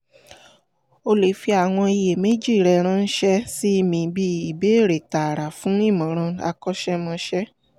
o lè fi àwọn iyèméjì rẹ ránṣẹ́ sí mi bí ìbéèrè tààrà fún ìmọ̀ràn akọ́sẹ́mọsẹ́